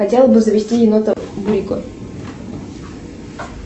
хотела бы завести енота бурико